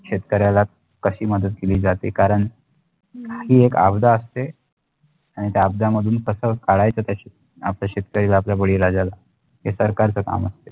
शेतकऱ्याला कशी मदत केली जाते कारण ही एक आबदा असते आणि त्या अबदामधून कस काढायचं त्या आपल्या शेतकरीला आपल्या बळीराजाला हे सरकारचा काम असते